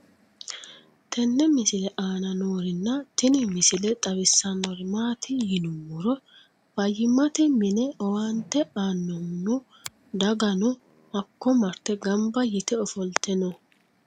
tenne misile aana noorina tini misile xawissannori maati yinummoro fayiimmatte minne owaannte anohunno daganno hakko maritte ganbba yiitte offolitte noo